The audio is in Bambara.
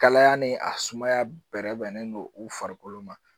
Kalaya ni a sumaya bɛrɛ bɛnnen don u farikolo ma